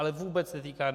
Ale vůbec netýká.